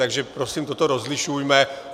Takže prosím, toto rozlišujme.